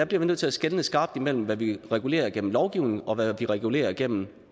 bliver nødt til at skelne skarpt imellem hvad vi regulerer gennem lovgivning og hvad vi regulerer gennem